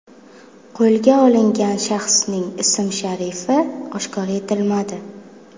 Qo‘lga olingan shaxsning ism-sharifi oshkor etilmadi.